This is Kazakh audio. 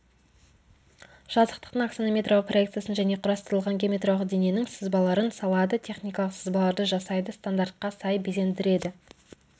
жазықтықтың аксонометриялық проекциясын және құрастырылған геометриялық дененің сызбаларын салады техникалық сызбаларды жасайды стандартқа сай безендіреді